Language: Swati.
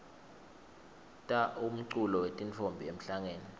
ta umculo wetintfombi emhlangeni